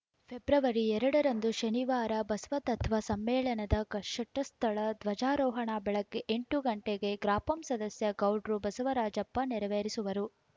February ಎರಡರಂದು ಶನಿವಾರ ಬಸವತತ್ವ ಸಮ್ಮೇಳನದ ಷಟಸ್ಥಳ ಧ್ವಜಾರೋಹಣ ಬೆಳಗ್ಗೆ ಎಂಟಕ್ಕೆ ಗ್ರಾಪಂ ಸದಸ್ಯ ಗೌಡ್ರು ಬಸವರಾಜಪ್ಪ ನೆರವೇರಿಸುವರು